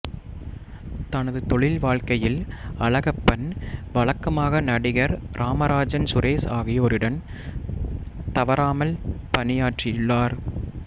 தனது தொழில் வாழ்க்கையில் அழகப்பன் வழக்கமாக நடிகர் ராமராஜன் சுரேஷ் ஆகியோருடன் தவறாமல் பணியாற்றியுள்ளார்